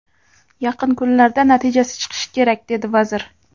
Yaqin kunlarda natijasi chiqishi kerak”, – dedi vazir.